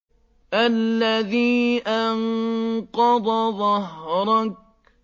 الَّذِي أَنقَضَ ظَهْرَكَ